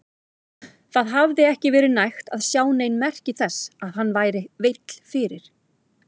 Það hafði ekki verið hægt að sjá nein merki þess að hann væri veill fyrir.